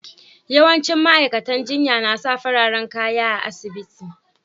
Yawancin ma'aikatan jinya na sa fararen kaya a'asibiti.